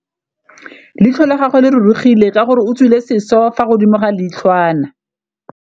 Leitlhô la gagwe le rurugile ka gore o tswile sisô fa godimo ga leitlhwana.